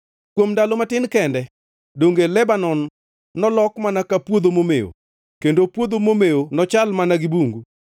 Kuom ndalo matin kende, donge Lebanon nolok mana ka puodho momewo kendo puodho momewo nochal mana gi bungu?